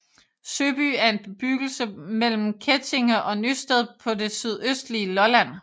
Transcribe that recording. Søby er en bebyggelse mellem Kettinge og Nysted på det sydøstlige Lolland